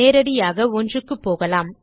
நேரடியாக 1 க்குப்போகலாம்